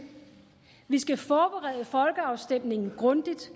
vi skal forberede folkeafstemningen grundigt